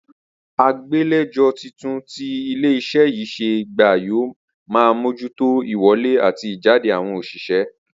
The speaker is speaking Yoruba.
Agbàlejò titun tí ilé is̩é̩ yìí s̩è̩ gbà yóò máa mójútó ìwo̩lé àti ìjáde àwo̩n òs̩ìsé̩